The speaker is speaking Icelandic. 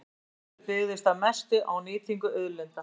Sá auður byggðist að mestu á nýtingu auðlinda.